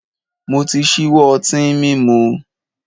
Mo ti ṣíwọ́ ọtín mímu.